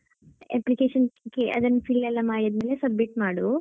Application ಅದ್~ ಅದನ್ನು fill ಎಲ್ಲಾ ಮಾಡಿದ್ಮೇಲೆ ಅದನ್ನು submit ಮಾಡು.